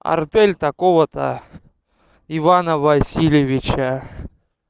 артель такого-то ивана васильевича